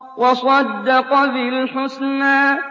وَصَدَّقَ بِالْحُسْنَىٰ